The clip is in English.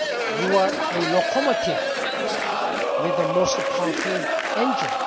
You are a locomotive with a most powerful